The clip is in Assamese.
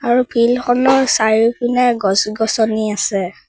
আৰু ফিল্ড খনৰ চাৰিওপিনে গছ-গছনি আছে।